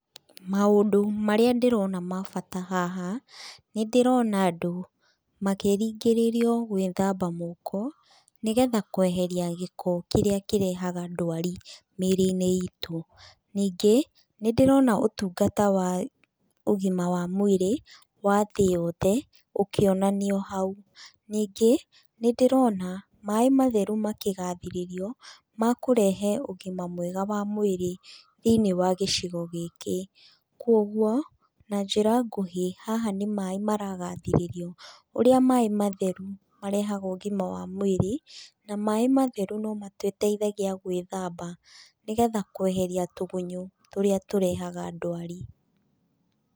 Maũndũ marĩa ndĩrona ma bata haha nĩ ndĩrona andũ makĩringĩrĩrio gwĩthamba moko, nĩgetha kweheria gĩko kĩrĩa kĩrehaga ndwari mĩrĩinĩ ĩtũ. Ningĩ nĩ ndĩrona ũtungata wa ũgima wa mwĩrĩ wa thĩ yothe ũkionanio hau. Ningĩ nĩ ndĩrona maĩ matheru makĩgathĩrĩrio makũrehe ũgima mwega wa mwĩrĩ thĩinĩ wa gĩcigo gĩkĩ. Kwoguo na njĩra nguhĩ haha nĩ maĩ maragathĩrĩrio, ũrĩa maĩ matheru marehaga ũgima wa mwĩrĩ na maĩ matheru no matũteithagia gwĩthamba, nĩgetha kweheria tũgunyo tũrĩa tũrehaga ndwari.